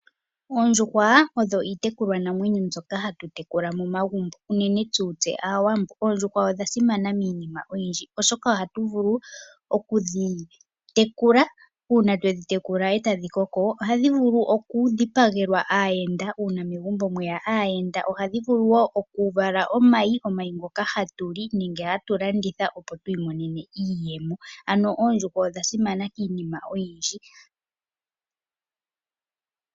Oondjuhwa odho iitekulwanamwenyo mbyoka hatu tekula momagumbo unene tuu tse Aawambo. Oondjuhwa odha simana miinima oyindji oshoka ohatu vulu okudhi tekula. Uuna twedhi tekula etadhi koko, ohadhi vulu okudhipagelwa aayenda uuna megumbo mweya aayenda. Ohadhi vulu wo okuvala omayi ngoka hatu li nenge hatu galanditha opo tu imonenemo iiyemo. Ano oondjuhwa odha simana kiinima oyindji.